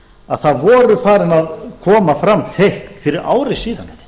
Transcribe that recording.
að það voru farin að koma fram teikn fyrir ári síðan